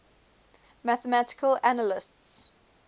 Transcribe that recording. mathematical analysts